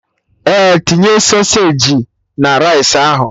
Ee, tinye sausagi na rice ahụ